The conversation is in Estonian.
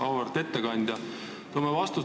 Auväärt ettekandja!